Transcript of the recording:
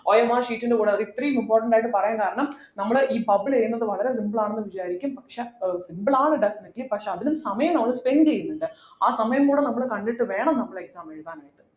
OMRsheet ൻ്റെ കൂടെ ഒരു ഇത്രേം important ആയിട്ട് പറയാൻ കാരണം നമ്മൾ ഈ bubble ചെയ്യുന്നത് വളരെ simple ആണ് ന്നു വിചാരിക്കും പക്ഷേ ഏർ simple ആണ് definitely പക്ഷെ അതിനും സമയം നമ്മൾ spend ചെയ്യുന്നിണ്ട് ആ സമയം കൂടെ നമ്മൾ കണ്ടിട്ട് വേണം നമ്മൾ exam എഴുതാനായിട്ട്